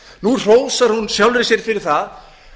nú hrósar hún sjálfri sér fyrir það